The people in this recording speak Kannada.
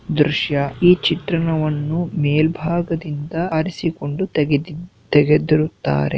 ದೃಶ್ಯ ಈ ಚಿತ್ರಣವನ್ನು ಮೇಲ್ಭಾಗದಿಂದ ಆರಿಸಿಕೊಂಡು ತೆಗೆದಿದ್ ತೆಗೆದಿರುತ್ತಾರೆ .